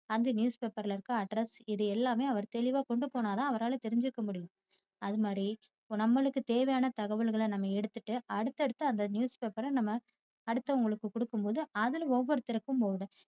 அந்த news paper ல இருக்கிற address இது எல்லாமே அவர் தெளிவா கொண்டு போன தான் அவரால தெரிஞ்சுக்க முடியும். அதுமாதிரி நம்மளுக்கு தேவையான தகவல்களை நம்ம எடுத்திட்டு அடுத்தடுத்த அந்த news paper நம்ம அடுத்தவங்களுக்கு கொடுக்கும் போது அதுல ஓவருத்தருக்கும் ஒன்னு